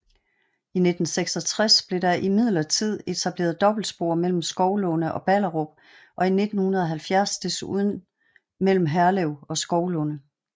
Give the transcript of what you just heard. I 1966 blev der imidlertid etableret dobbeltspor mellem Skovlunde og Ballerup og i 1970 desuden mellem Herlev og Skovlunde